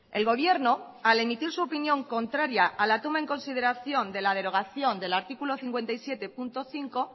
el gobierno al emitir su opinión contraria a la toma en consideración de la derogación del artículo cincuenta y siete punto cinco